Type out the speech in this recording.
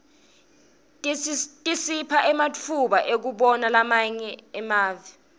tisipha ematfuba ekubana emave lamanye